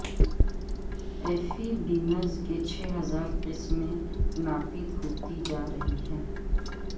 ایفیبینز کی چھ ہزار قسمیں ناپید ہوتی جا رہی ہیں